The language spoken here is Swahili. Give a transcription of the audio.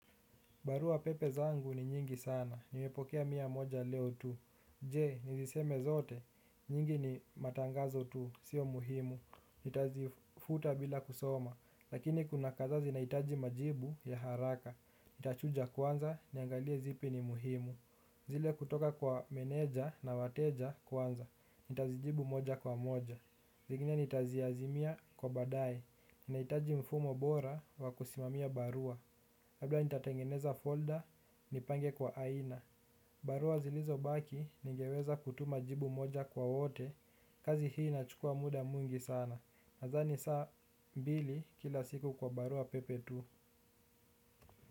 Barua pepe zangu ni nyingi sana, nimepokea mia moja leo tu. Je, niziseme zote, nyingi ni matangazo tu, sio muhimu. Nitazifuta bila kusoma, lakini kuna kadhaa zinahitaji majibu ya haraka. Nitachuja kwanza, niangalie zipi ni muhimu. Zile kutoka kwa meneja na wateja kwanza, nitazijibu moja kwa moja. Zingine nitaziazimia kwa baadaye, nahitaji mfumo bora wa kusimamia barua. Labda nitatengeneza folder nipange kwa aina. Barua zilizobaki ningeweza kutuma jibu moja kwa wote. Kazi hii inachukua muda mwingi sana, nadhani saa mbili kila siku kwa baruapepe tu.